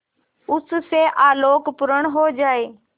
उससे आलोकपूर्ण हो जाए